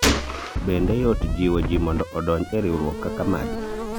bende yot jiwo jii mondo odonji e riwruok kaka magi ?